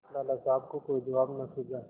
लाला साहब को कोई जवाब न सूझा